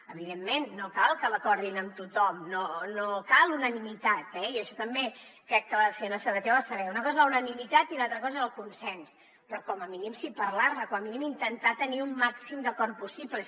evidentment no cal que l’acordin amb tothom no cal unanimitat eh jo això també crec que la senyora sabater ho ha de saber una cosa és la unanimitat i l’altra cosa és el consens però com a mínim parlar ne com a mínim intentar tenir un màxim d’acord possible